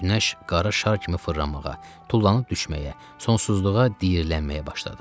Günəş qara şar kimi fırlanmağa, tullanıb düşməyə, sonsuzluğa diirlənməyə başladı.